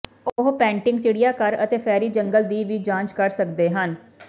ਉਹ ਪੈਂਟਿੰਗ ਚਿੜੀਆਘਰ ਅਤੇ ਫੈਰੀ ਜੰਗਲ ਦੀ ਵੀ ਜਾਂਚ ਕਰ ਸਕਦੇ ਹਨ